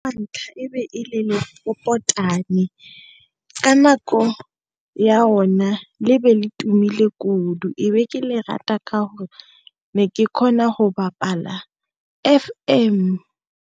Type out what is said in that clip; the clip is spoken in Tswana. Wa ntlha e be e le lepopotane ka nako ya ona le be le tumileng kudu ebe ke le rata ka gore ne ke kgona go bapala F_M.